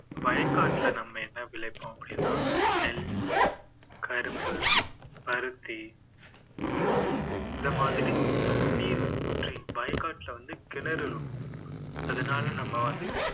வயக்காட்டுல நம்ம என்ன விளைப்போம் அப்படின்னா நெல், கரும்பு, பருத்தி இந்த மாதிரி தண்ணீர் ஊற்றி வயக்காட்டுல வந்து கிணறு இருக்கும் அதனால நம்ம வந்து